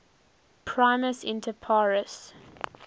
primus inter pares